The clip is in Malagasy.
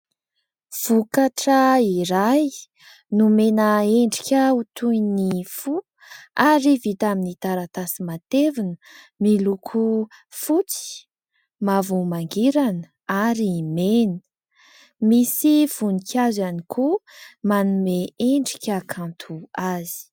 Vokatra iray nomena endrika ho toy ny fo ary vita amin'ny taratasy matevina, miloko fotsy, mavo mangirana ary mena. Misy voninkazo ihany koa manome endrika kanto azy.